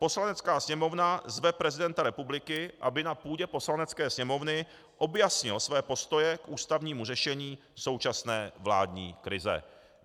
Poslanecká sněmovna zve prezidenta republiky, aby na půdě Poslanecké sněmovny objasnil svoje postoje k ústavnímu řešení současné vládní krize.